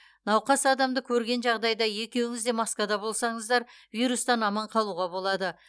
науқас адамды көрген жағдайда екеуіңіз де маскада болсаңыздар вирустан аман қалуға болады